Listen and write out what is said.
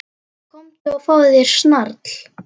Komdu og fáðu þér snarl.